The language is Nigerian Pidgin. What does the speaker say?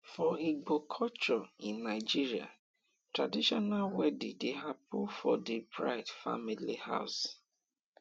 for igbo culture in nigeria traditional wedding de happen for di bride family house